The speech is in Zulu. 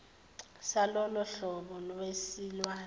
salolo hlobo lwesilwane